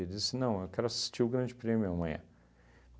Eu disse, não, eu quero assistir o Grande Prêmio amanhã.